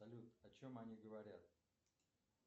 салют о чем они говорят